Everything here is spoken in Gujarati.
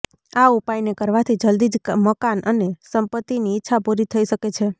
આ ઉપાયને કરવાથી જલ્દી જ મકાન અને સંપત્તિની ઈચ્છા પૂરી થઈ શકે છે